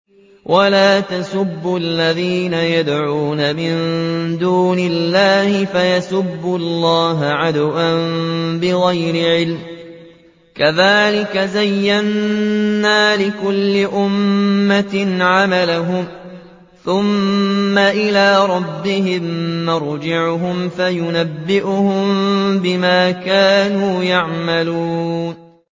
وَلَا تَسُبُّوا الَّذِينَ يَدْعُونَ مِن دُونِ اللَّهِ فَيَسُبُّوا اللَّهَ عَدْوًا بِغَيْرِ عِلْمٍ ۗ كَذَٰلِكَ زَيَّنَّا لِكُلِّ أُمَّةٍ عَمَلَهُمْ ثُمَّ إِلَىٰ رَبِّهِم مَّرْجِعُهُمْ فَيُنَبِّئُهُم بِمَا كَانُوا يَعْمَلُونَ